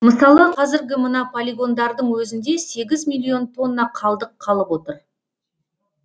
мысалы қазіргі мына полигондардың өзінде сегіз миллион тонна қалдық қалып отыр